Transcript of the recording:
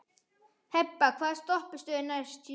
Hebba, hvaða stoppistöð er næst mér?